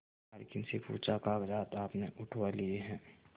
मालकिन से पूछाकागजात आपने उठवा लिए हैं